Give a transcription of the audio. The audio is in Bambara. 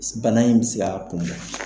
Bana in bi se k'a kun bɔ.